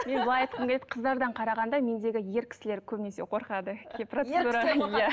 мен былай айтқым келеді қыздардан қарағанда мендегі ер кісілер көбінесе қорқады